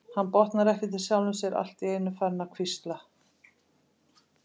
Hann botnar ekkert í sjálfum sér, allt í einu farinn að hvísla.